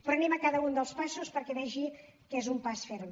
però anem a cada un dels passos perquè vegi que és un pas ferm